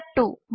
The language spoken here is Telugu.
స్టెప్ 2